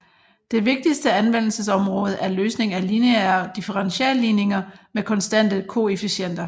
Det vigtigste anvendelsesområde er løsning af lineære differentialligninger med konstante koefficienter